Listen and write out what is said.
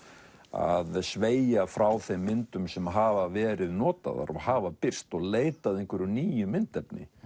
að sveigja frá þeim myndum sem hafa verið notaðar og hafa birst og leita að einhverju nýju myndefni